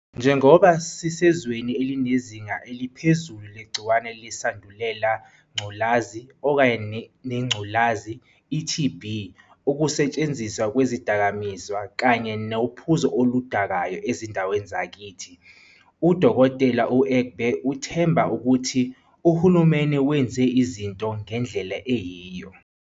Njengoba sisezweni elinezinga eliphezulu legciwane leSandulela Ngculazi, neNgculazi, i-TB, ukusetshenziswa kwezidakamizwa kanye nophuzo oluda-kayo ezindaweni zakithi, u-Dkt. u-Egbe uthemba ukuthi uhulumeni wenze izinto ngendlela eyiyo.